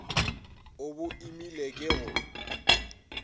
o bo imele ke go